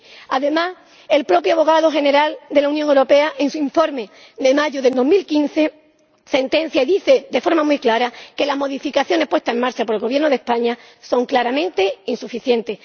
7. Además, el propio abogado general del Tribunal de Justicia de la Unión Europea, en su informe de mayo de 2015, dice de forma muy clara que las modificaciones puestas en marcha por el Gobierno de España son claramente insuficientes.